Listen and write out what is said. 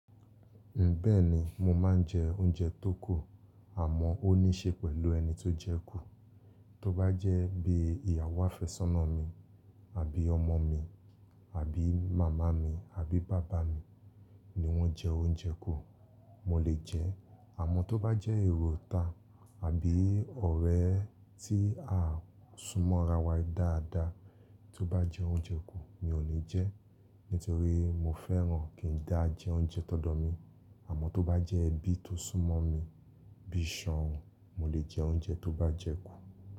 Mbẹ́ẹ̀ni mo máa ń jẹ oúnjẹ tó kù, àmọ́ ó ní ṣe pẹ̀lú ẹni tó jẹ ẹ kù. Tó bá jẹ́ bí ìyàwó afẹ́sọ́nà mi, àbí ọmọ mi, àbí màmá mi, àbí bàbá mi ni wọ́n jẹ oúnjẹ kù, mo lè jẹ ẹ. Àmọ́ tó bá jẹ́ èrò ita àbí ọ̀rẹ́ tí a súnmọ́ ra wa dáadáa tó bá jẹ oúnjẹ kù, mi ò ní jẹ ẹ. Nítorí mo fẹ́ràn kí n dá jẹ oúnjẹ tọdọ mi. Àmọ́ tó bá jẹ́ ẹbí tó súnmọ́ mi bí i ṣàn òn, mo lè jẹ oúnjẹ tó bá jẹ ẹ kù.